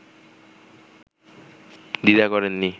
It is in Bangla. দ্বিধা করেননি